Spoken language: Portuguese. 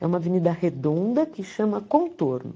É uma avenida redonda que chama Contorno.